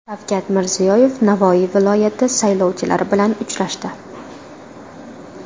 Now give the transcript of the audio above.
Shavkat Mirziyoyev Navoiy viloyati saylovchilari bilan uchrashdi.